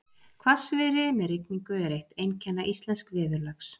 Hvassviðri með rigningu er eitt einkenna íslensks veðurlags.